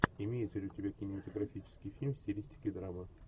имеется ли у тебя кинематографический фильм в стилистике драма